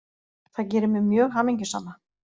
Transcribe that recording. Það gerir mig mjög hamingjusama